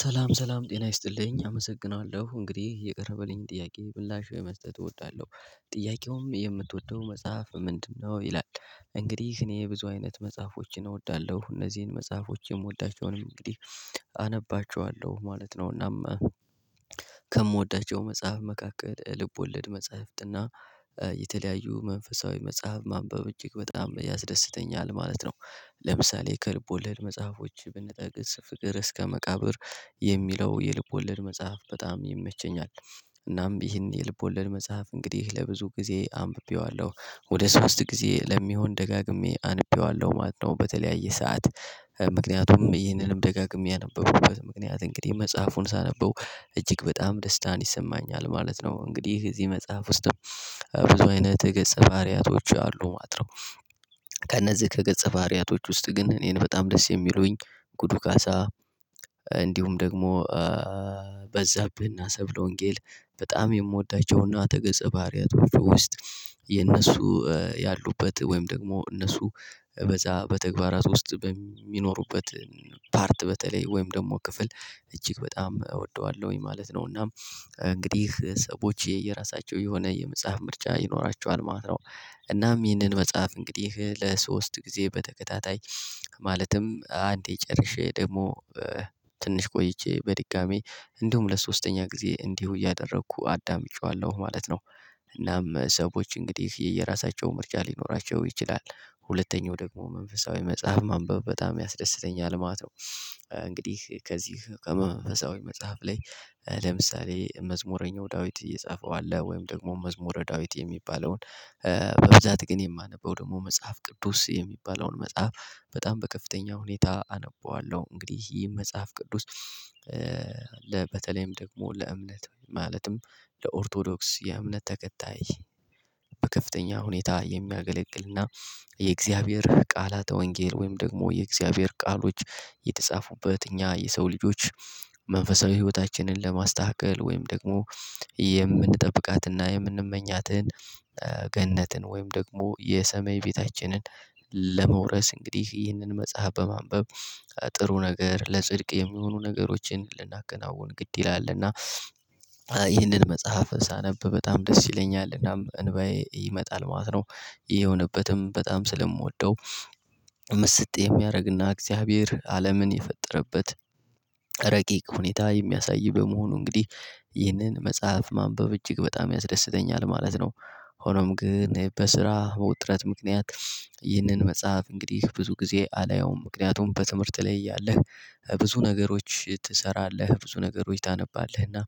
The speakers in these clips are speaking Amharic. ሰላም ሰላም ጤና ይስጥልኝ አመሰግናለሁ እንግዲህ የቀረበልኝ ጥያቄ ምላሽ ለመስጠት እወዳለሁ ጥያቄውም የምትወደው መጽሐፍ ምንድነው ይላል? እንግዲህ እኔ ብዙ አይነት መጽሐፎችን እወዳለሁ እነዚህን መጽሐፎች የምወዳቸውን እንግዲህ አነባቸዋለሁ ማለት ነው። እናም ከምወዳቸው መጽሐፍ መካከል ልቦለድ መጽሐፍትና የተለያዩ መንፈሳዊ መጽሐፍ ማንበብ እጅግ በጣም ያስደስተኛል ማለት ነው። ለምሳሌ ከልብ ወለድ መጽሐፎች ብንጠቅስ ፍቅር እስከ መቃብር የሚለው የልብ ወለድ መጽሐፍ በጣም ይመቸኛል። እናም ይህን የልብ ወለድ መጽሐፍ እንግዲህ ለብዙ ጊዜ አንብቤዋለሁ ወደ ሶስት ጊዜ ለሚሆን ደጋግሜ አንብቤዋለሁ ማለት ነው። በተለያየ ሰዓት ምክንያቱም ይህንንም ደጋግሜ ያነበብኩበት ምክንያት እንግዲህ መጽሐፉን ሳነበው እጅግ በጣም ደስታን ይሰማኛል ማለት ነው። እንግዲህ እዚህ መጽሐፍ ውስጥ ብዙ አይነት የገጸ ባህሪያቶች አሉ ማጥረው። ከእነዚህ ከገጸ ባርያቶች ውስጥ ግን እኔን በጣም ደስ የሚሉኝ ጉዱ ካሳ። እንዲሁም ደግሞ በዛብህና ሰብለ ወንጌል በጣም የምወዳቸውና ተገጸ ባህሪያቶች ውስጥ የእነሱ ያሉበት ወይም ደግሞ እነሱ በተግባራት ውስጥ በሚኖሩበት ፓርት በተለይ ወይም ደግሞ ክፍል እጅግ በጣም እወደዋለሁኝ ማለት ነው። እና እንግዲህ ሰዎች የየራሳቸው የሆነ የመጽሐፍ ምርጫ ይኖራቸዋል ማለት ነው። እናም ይህንን መጽሐፍ እንግዲህ ለሶስት ጊዜ በተከታታይ ማለትም አንዴ ጨርሼ ደግሞ ትንሽ ቆይቼ በድጋሚ እንዲሁም ለሶስተኛ ጊዜ እንዲሁ እያደረኩ አዳምጬዋለሁ ማለት ነው። እናም ሰዎች እንግዲህ የየራሳቸው ምርጫ ሊኖራቸው ይችላል። ሁለተኛው ደግሞ መንፈሳዊ መጽሐፍ ማንበብ በጣም ያስደስተኛል ማለት ነው። እንግዲህ ከዚህ ከመንፈሳዊ መጽሐፍ ላይ ለምሳሌ መዝሙረኛው ዳዊት እየጻፈው አለ ወይም ደግሞ መዝሙረ ዳዊት የሚባለውን በብዛት ግን የማነበው ደግሞ መጽሐፍ ቅዱስ የሚባለውን መጽሐፍ በጣም በከፍተኛ ሁኔታ አነበዋለሁ። እንግዲህ ይህ መጽሐፍ ቅዱስ። በተለይም ደግሞ ለእምነት ማለትም ለኦርቶዶክስ የእምነት ተከታይ በከፍተኛ ሁኔታ የሚያገለግልና የእግዚአብሔር ቃላተ ወንጌል ወይም ደግሞ የእግዚአብሔር ቃሎች የተጻፉበት እኛ የሰው ልጆች መንፈሳዊ ህይወታችንን ለማስተካከል ወይም ደግሞ የምንጠብቃትና የምንመኛትን ገነትን ወይም ደግሞ የሰማይ ቤታችንን ለመውረስ እንግዲህ ይህንን መጽሐፍ በማንበብ ጥሩ ነገር ለጽድቅ የሚሆኑ ነገሮችን ልናከናውን ግድ ይላል እና ይህንን መጽሐፍ ሳነብ በጣም ደስ ይለኛል እናም እንባዬ ይመጣል ማለት ነው። ይሄ የሆነበትም በጣም ስለምወደው ምስጥ የሚያደርግና እግዚአብሔር አለምን የፈጠረበት ረቂቅ ሁኔታ የሚያሳይ በመሆኑ እንግዲህ ይህንን መጽሐፍ ማንበብ እጅግ በጣም ያስደስተኛል ማለት ነው። ሆኖም ግን በስራ መውጥረት ምክንያት ይህንን መጽሐፍ እንግዲህ ብዙ ጊዜ አላየውም ምክንያቱም በትምህርት ላይ እያለህ ብዙ ነገሮች ትሰራለህ ብዙ ነገሮች ታነባለህ እና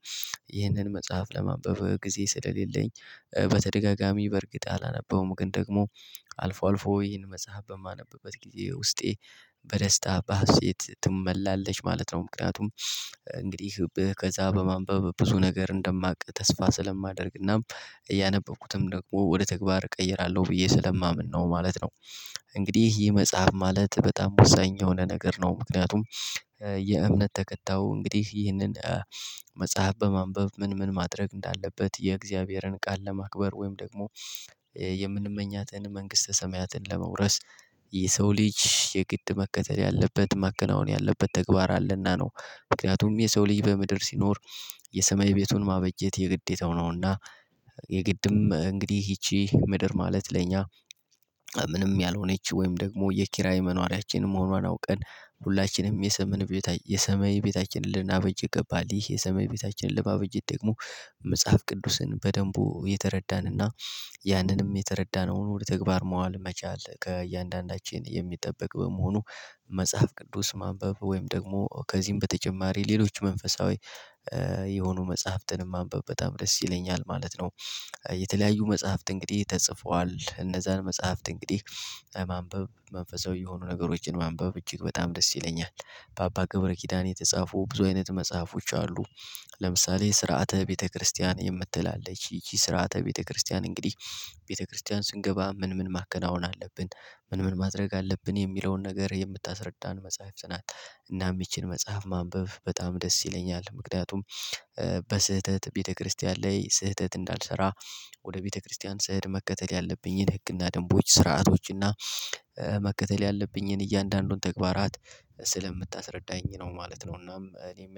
ይህንን መጽሐፍ ለማንበብ ጊዜ ስለሌለኝ በተደጋጋሚ በእርግጥ አላነበውም ግን ደግሞ አልፎ አልፎ ይሄን መጽሐፍ በማነበበት ጊዜ ውስጤ በደስታ በሀሴት ትመላለች ማለት ነው ምክንያቱም እንግዲህ ከዛ በማንበብ ብዙ ነገር እንደማውቅ ተስፋ ስለማደርግና ያነበብኩትም ደግሞ ወደ ተግባር እቀይራለሁ ብዬ ስለማምን ነው ማለት ነው። እንግዲህ ይህ መጽሐፍ ማለት በጣም ወሳኝ የሆነ ነገር ነው። ምክንያቱም የእምነት ተከታው እንግዲህ ይህንን መጽሐፍ በማንበብ ምን ምን ማድረግ እንዳለበት የእግዚአብሔርን ቃል ለማክበር ወይም ደግሞ የምንመኛትን መንግስተ ሰማያትን ለመውረስ የሰው ልጅ የግድ መከተል ያለበት ማከናወን ያለበት ተግባር አለና ነው። ምክንያቱም የሰው ልጅ በምድር ሲኖር የሰማይ ቤቱን ማበጀት የግዴታው ነውና። የግድም እንግዲህ ይቺ ምድር ማለት ለኛ ምንም ያልሆነች ወይም ደግሞ የኪራይ መኖሪያችንን መሆኗን አውቀን ሁላችንም የሰሜን ቤት የሰማይ ቤታችንን ልናበጅ ገባል ይህ የሰማይ ቤታችን ልናበጀ ደግሞ መጽሐፍ ቅዱስን በደንቡ የተረዳንና ያንንም የተረዳነውን ወደ ተግባር መዋል መቻል ከእያንዳንዳችን የሚጠበቅ በመሆኑ መጽሐፍ ቅዱስ ማንበብ ወይም ደግሞ ከዚህም በተጨማሪ ሌሎች መንፈሳዊ የሆኑ መጽሐፍትንም ማንበብ በጣም ደስ ይለኛል ማለት ነው። የተለያዩ መጽሐፍት እንግዲህ ተጽፏል እነዛን መጽሐፍት እንግዲህ ማንበብ መንፈሳዊ የሆኑ ነገሮችን ማንበብ እጅግ በጣም ደስ ይለኛል። በአባ ገብረ ኪዳን የተጻፉ ብዙ አይነት መጽሐፎች አሉ። ለምሳሌ ስርዓተ ቤተክርስቲያን የምትል አለች ስርዓተ ቤተክርስቲያን እንግዲህ ቤተክርስቲያን ስንገባ ምን ምን ማከናወን አለብን ምን ምን ማድረግ አለብን የሚለውን ነገር የምታስረዳን መጽሐፍት ናት። እናም ይቺን መጽሐፍ ማንበብ በጣም ደስ ይለኛል ምክንያቱም በስህተት ቤተክርስቲያን ላይ ስህተት እንዳልሰራ ወደ ቤተክርስቲያን ስሄድ መከተል ያለብኝን ህግና ደንቦች ስርዓቶችንና መከተል ያለብኝን እያንዳንዱን ተግባራት ስለምታስረዳኝ ነው ማለት ነው። እናም እኔ